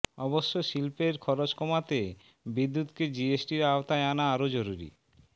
অবশ্য শিল্পের খরচ কমাতে বিদ্যুৎকে জিএসটির আওতায় আনা আরও জরুরি